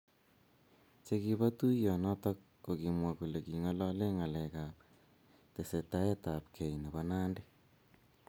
Che kiba tuiyet noto ko kimwa kole kingalalee ngalek ab tesetaetabkei nebo Nandi